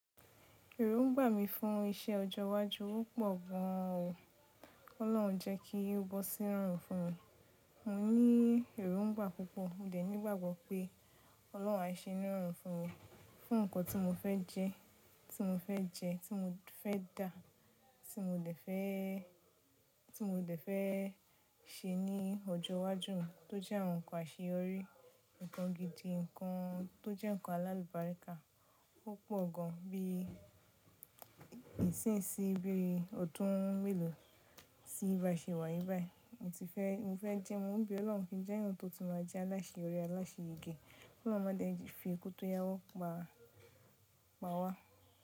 Èróńgbà mi fún iṣẹ́ ọjọ iwájú ó pọ̀ gan àn o. Ọlọ́run jẹ́ kí ó bọ́ sí rọrùn fún mi. Mọ ní èróńgbà púpọ̀, mo dẹ nígbàgbọ́ pé Ọlọ́run á ṣe ni é rọrùn fún mi, fún nkàn tí mo fẹ́ jẹ, tí mo fẹ́ jẹ, tí mo fẹ́ dà, tí mo dè fẹ́, tí mo dè fẹ́ ṣe ní ọjọ́ iwájú mi tó jẹ́ àwọn nkàn àṣeyọrí, nkàn gidi, nkàn tó jẹ́ nkàn alálùbáríkà. Ó pọ̀ gan bí ìsinsin, bí i ọ̀dún mèlò sí bà ṣe wà yìí ba i Mo ti fẹ́, mo fẹ́ jẹ́, mo ń be Ọlọ́run kí n jẹ́ ẹniyan tó ti máa jẹ́ aláṣẹyorí aláṣẹyege. Ki Ọlọ́run máa dẹ́ẹ̀ fi iku tò yáwọ́ pa, pa wá.